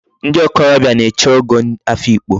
Ndi okorobia na-eche Ogo Afikpo